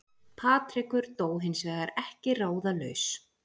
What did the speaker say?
Patrekur dó hins vegar ekki ráðalaus